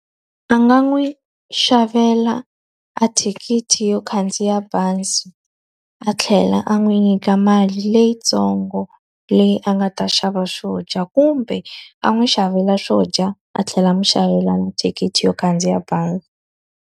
A nga n'wi xavela a thikithi yo khandziya bazi, a tlhela a n'wi nyika mali leyitsongo leyi a nga ta xava swo dya. Kumbe a n'wi xavela swo dya, a tlhela a n'wi xavela thikithi yo khandziya bazi.